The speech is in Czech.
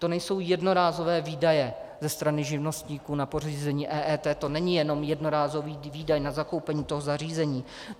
To nejsou jednorázové výdaje ze strany živnostníků na pořízení EET, to není jenom jednorázový výdaj na zakoupení toho zařízení.